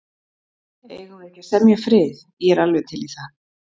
Eigum við ekki að semja frið. ég er alveg til í það.